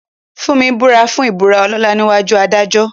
Funmi búra fún ìbúra ọlọ́lá níwájú adájọ́.